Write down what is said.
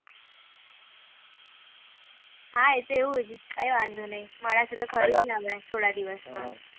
હા એ તો એવુજ કઈ વાંધો નહી મળાશે તો ખરું હમણાં થોડા દિવસ માં